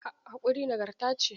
Haƙuri nagarta ce.